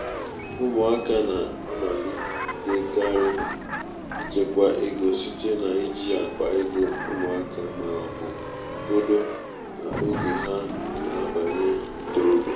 ụmụaka na-amalitekarị ịchekwa ego site n’iji akpa ego ụmụaka ma ọ bụ kolo n’oge ha na-abanye ntorobịa.